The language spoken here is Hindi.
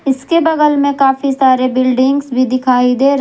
उसके बगल में काफी सारे बिल्डिंग्स भी दिखाई दे रहे--